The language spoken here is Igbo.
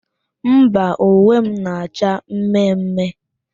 Mba, uwe m na-acha mme mme.